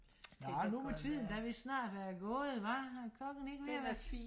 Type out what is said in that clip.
nå nu må tiden da vidst snart være gået hva er klokken ikke ved at være